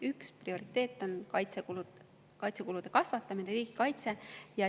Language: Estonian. Üks prioriteet on kaitsekulude kasvatamine, riigikaitse.